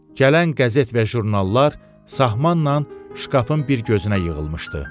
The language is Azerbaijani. Gələn qəzet və jurnallar sahmanla şkafın bir gözünə yığılmışdı.